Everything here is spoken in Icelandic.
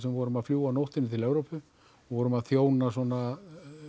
við vorum að fljúga á nóttunni til Evrópu vorum að þjóna svona